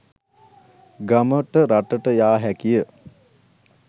ගමට රටට යා හැකිය.